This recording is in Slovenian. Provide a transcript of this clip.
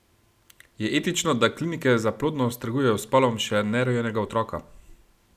Je etično, da klinike za plodnost trgujejo s spolom še nerojenega otroka?